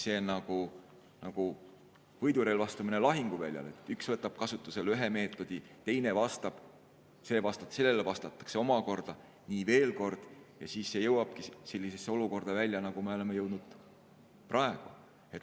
See on nagu võidurelvastumine lahinguväljal: üks võtab kasutusele ühe meetodi, teine vastab, sellele vastatakse omakorda, nii veel kord – ja siis see jõuabki sellisesse olukorda välja, nagu me oleme jõudnud praegu.